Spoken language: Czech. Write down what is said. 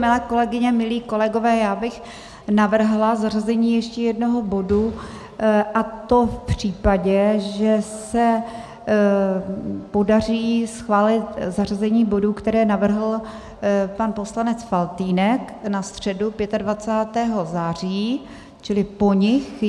Milé kolegyně, milí kolegové, já bych navrhla zařazení ještě jednoho bodu, a to v případě, že se podaří schválit zařazení bodů, které navrhl pan poslanec Faltýnek na středu 25. září, čili po nich.